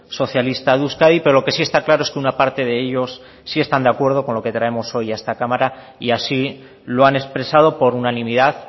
socialista de euskadi pero lo que sí está claro es que una parte de ellos sí están de acuerdo con lo que traemos hoy a esta cámara y así lo han expresado por unanimidad